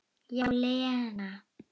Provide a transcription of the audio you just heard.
Já, Lena.